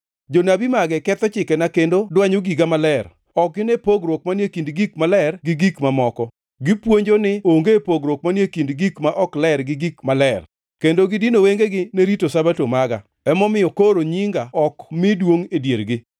Jonabi mage ketho chikena kendo dwanyo giga maler; ok gine pogruok manie kind gik maler gi gik mamoko; gipuonjo ni onge pogruok manie kind gik ma ok ler gi gik maler; kendo gidino wengegi ni rito Sabato maga, momiyo koro nyinga ok mi duongʼ e diergi.